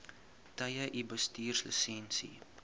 tye u bestuurslisensie